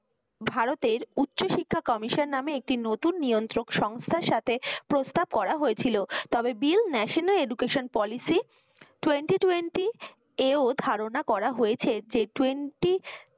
ভারতে উচ্চশিক্ষা commission নামে একটি নতুন নিয়ন্ত্রক সংস্থার সাথে প্রস্তাব করা হয়েছিল। তবে bill national educaltion policy twenty twenty এও ধারনা করা হয়েছে যে twenty